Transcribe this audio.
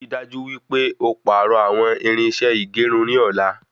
Ri dájú wípé o pàrọ àwọn irinṣẹ́ ìgérun ní ọ̀la